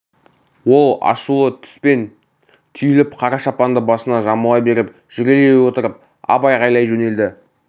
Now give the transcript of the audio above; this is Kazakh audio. ол ашулы түспен түйіліп қара шапанды басына жамыла беріп жүрелей отырып ап айғайлай жөнелді